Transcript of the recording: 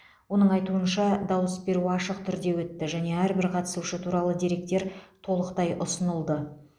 оның айтуынша дауыс беру ашық түрде өтті және әрбір қатысушы туралы деректер толықтай ұсынылды